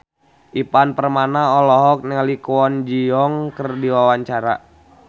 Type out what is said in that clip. Ivan Permana olohok ningali Kwon Ji Yong keur diwawancara